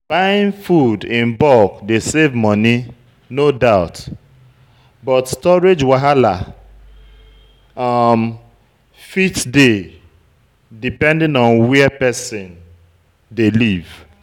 Buying food in bulk dey save money, no doubt but storage wahala um fit dey depending on where person dey live